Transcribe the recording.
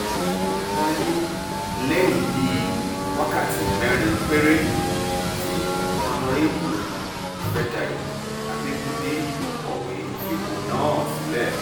èyí wáyé lẹ́yìn bíi wákàtí mẹ́rin péré tí ọ̀nàrẹ́bù ìfẹ́dàyò abẹ́gundé kọ̀wé fipò náà sílẹ̀